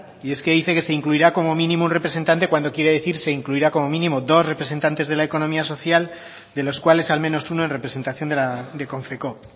y es que dice que se incluirá como mínimo un representante cuando quiere decir se incluirá como mínimo dos representantes de la economía social de los cuales al menos uno en representación de konfekoop